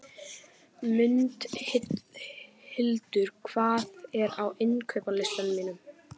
Mundhildur, hvað er á innkaupalistanum mínum?